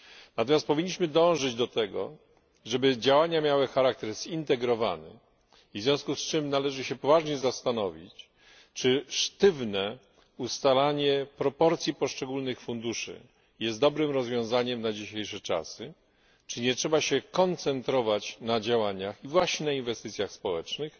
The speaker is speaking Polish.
Natomiast powinniśmy dążyć do tego, żeby działania miały charakter zintegrowany, i w związku z tym należy się poważnie zastanowić, czy sztywne ustalanie proporcji poszczególnych funduszy jest dobrym rozwiązaniem na dzisiejsze czasy, czy nie trzeba się koncentrować na działaniach i właśnie na inwestycjach społecznych,